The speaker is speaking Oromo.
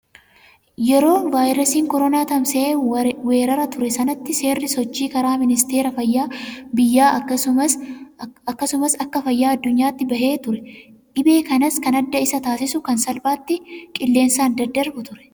Yeroo vaayirasiin koronaa tamsa'ee weeraree ture sanatti seerri sochii karaa ministeera fayyaa biyyaa akkasumas akka fayyaa addunyaatti bahee ture. Dhibee kanas kan adda isa taasisu kan salphaatti qilleensaan daddarbu ture.